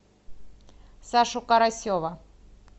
сашу карасева